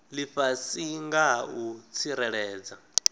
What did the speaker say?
lifhasi nga ha u tsireledza